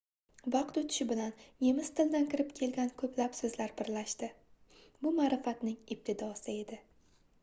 vaqt oʻtishi bilan nemis tilidan kirib kelgan koʻplab soʻzlar birlashdi bu maʼrifatning ibtidosi edi